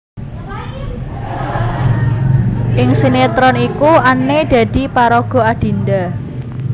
Ing sinetron iku Anne dadi paraga Adinda